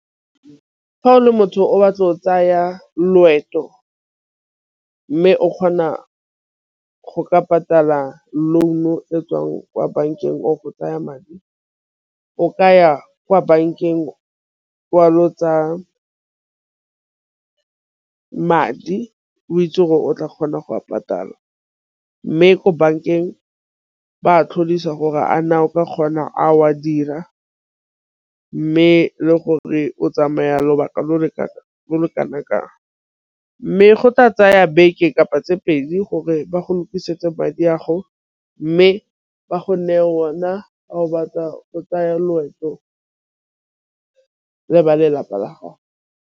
Fa o le motho o batla o tsaya loeto, mme o kgona go ka patala loan-o e tswang kwa bankeng o go tsaya madi. O ka ya kwa bankeng wa lo tsaya madi o itse gore o tla kgona go a patala mme ko bankeng ba tlodisa gore a na o ka kgona a o a dira. Mme le gore o tsamaya lobaka lo lo ka bolo kana kang. Mme go tla tsaya beke kapa tse pedi gore ba go lokisetsa madi a gago mme ba gonne ona a gobatsa o tsaya loeto le ba lelapa la gago.